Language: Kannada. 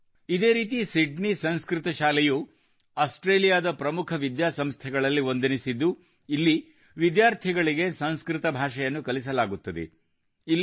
ಇದೇ ರೀತಿ ಸಿಡ್ನಿ ಸಂಸ್ಕೃತ ಶಾಲೆಯು ಸಿಡ್ನಿ ಸಂಸ್ಕೃತ್ ಸ್ಕೂಲ್ ಆಸ್ಟ್ರೇಲಿಯಾದ ಪ್ರಮುಖ ವಿದ್ಯಾಸಂಸ್ಥೆಗಳಲ್ಲಿ ಒಂದೆನಿಸಿದ್ದು ಇಲ್ಲಿ ವಿದ್ಯಾರ್ಥಿಗಳಿಗೆ ಸಂಸ್ಕೃತ ಭಾಷೆಯನ್ನು ಕಲಿಸಲಾಗುತ್ತದೆ